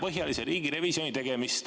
… laiapõhjalise riigirevisjoni tegemist.